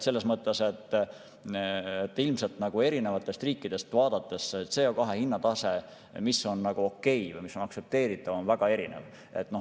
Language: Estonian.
Selles mõttes, et ilmselt erinevatest riikidest vaadates on aktsepteeritav CO2 hinna tase väga erinev.